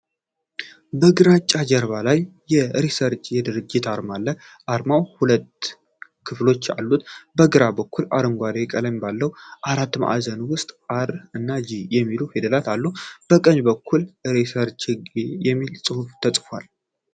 በግራጫ ጀርባ ላይ የ'ሪሰርችጌት' የድርጅት አርማ አለ። አርማው ሁለት ክፍሎች አሉት፤ በግራ በኩል አረንጓዴ ቀለም ባለው አራት ማዕዘን ውስጥ 'አር' እና 'ጂ' የሚሉ ፊደላት አሉ። በቀኝ በኩል 'ሪሰርችጌት' የሚለው ስም ተጽፏል።